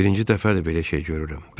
Birinci dəfədir belə şey görürəm.